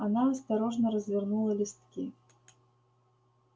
она осторожно развернула листки